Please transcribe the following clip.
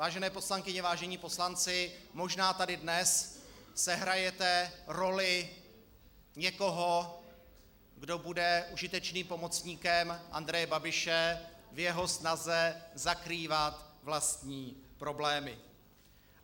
Vážené poslankyně, vážení poslanci, možná tady dnes sehrajete roli někoho, kdo bude užitečným pomocníkem Andreje Babiše v jeho snaze zakrývat vlastní problémy.